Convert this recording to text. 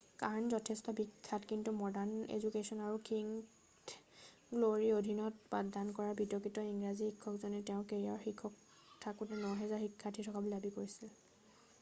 Kern' যথেষ্ট বিখ্যাত কিন্তু মডাৰ্ণ এজুকেশ্বন আৰু কিংথ গ্ল'ৰীৰ অধীনত পাঠদান কৰা বিতৰ্কিত ইংৰাজী শিক্ষকজনে তেওঁৰ কেৰিয়াৰৰ শীৰ্ষত থাকোঁতে 9000 শিক্ষাৰ্থী থকা বুলি দাবী কৰিছিল